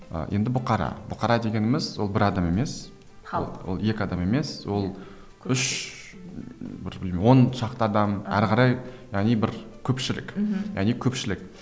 ы енді бұқара бұқара дегеніміз ол бір адам емес халық ол екі адам емес ол үш бір оншақты адам әрі қарай яғни бір көпшілік мхм яғни көпшілік